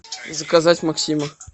заказать максима